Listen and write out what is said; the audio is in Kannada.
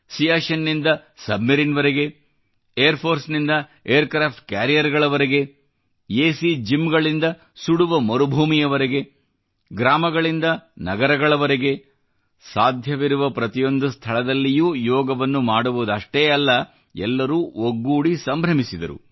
ಸಿಯಾಚಿನ್ನಿಂದ ಸಬ್ಮೆರಿನ್ವರೆಗೆ ಏರ್ ಫೋರ್ಸ್ ನಿಂದ ಏರ್ಕ್ರಾಫ್ಟ್ ಕ್ಯಾರಿಯರ್ಗಳವರೆಗೆ ಎ ಸಿ ಜಿಮ್ಗಳಿಂದ ಸುಡುವ ಮರುಭೂಮಿವರೆಗೆ ಗ್ರಾಮಗಳಿಂದ ನಗರಗಳವರೆಗೆ ಸಾಧ್ಯವಿರುವ ಪ್ರತಿಯೊಂದು ಸ್ಥಳದಲ್ಲಿಯೂ ಯೋಗವನ್ನು ಮಾಡುವುದಷ್ಟೇ ಅಲ್ಲ ಎಲ್ಲರೂ ಒಗ್ಗೂಡಿ ಸಂಭ್ರಮಿಸಿದರು